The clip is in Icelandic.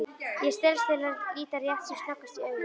Ég stelst til að líta rétt sem snöggvast í augun.